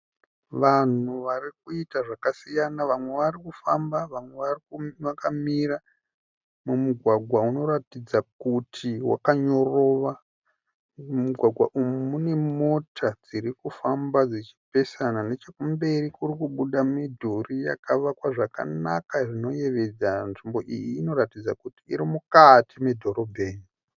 Vanhu varikuita zvakasiyana, vamwe varikufamba, vamwe vakamira, mumugwagwa unoratidza kuti wakanyorova. Mumugwagwa umu mune mota dzirikufamba dzichipesana, nechekumberi kurikubuda midhuri yakavakwa zvakanaka zvinoyevedza. Nzvimbo iyi inoratidza kuti irimukati medhorobheni.